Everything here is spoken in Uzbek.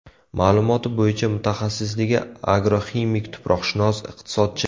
Ma’lumoti bo‘yicha mutaxassisligi agroximik-tuproqshunos, iqtisodchi.